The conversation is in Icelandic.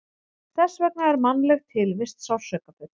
Þess vegna er mannleg tilvist sársaukafull.